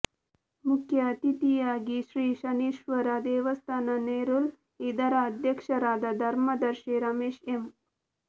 ಮುಖ್ಯ ಅಥಿತಿಯಾಗಿ ಶ್ರೀ ಶನೀಶ್ವರ ದೇವಸ್ಥಾನ ನೆರೂಲ್ ಇದರ ಅಧ್ಯಕ್ಷರಾದ ಧರ್ಮದರ್ಶಿ ರಮೇಶ್ ಎಂ